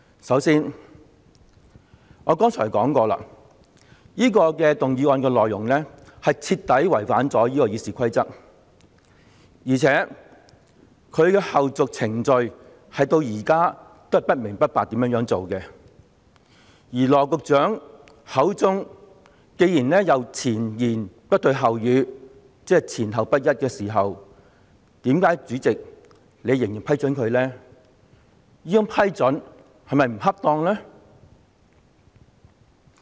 首先，我剛才已說過，這項議案的內容所提出的要求，徹底違反了《議事規則》，而且，它的後續程序至今仍是不明不白，加上羅局長前言不對後語——即說法前後不一——主席，為何你仍要批准他動議這項議案呢？